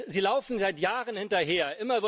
Sie laufen seit Jahren hinterher.